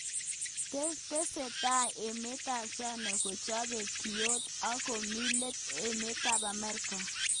Tesetai emet ab China kochobei kiotok ak komi let emet ab Marekani.